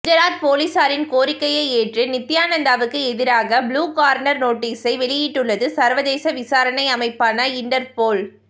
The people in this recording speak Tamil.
குஜராத் போலீஸாரின் கோரிக்கையை ஏற்று நித்தியானந்தாவுக்கு எதிராக ப்ளூ கார்னர் நோட்டீஸை வெளியிட்டுள்ளது சர்வதேச விசாரணை அமைப்பான இண்டர்போல்